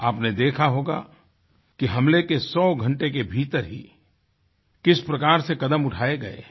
आपने देखा होगा कि हमले के 100 घन्टे के भीतर ही किस प्रकार से कदम उठाये गये हैं